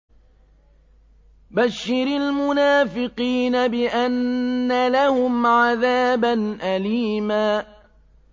بَشِّرِ الْمُنَافِقِينَ بِأَنَّ لَهُمْ عَذَابًا أَلِيمًا